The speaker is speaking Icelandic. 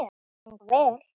Mér fannst þetta ganga vel.